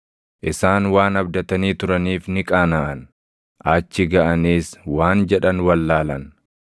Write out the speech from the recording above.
Isaan waan abdatanii turaniif ni qaanaʼan; achi gaʼaniis waan jedhan wallaalan.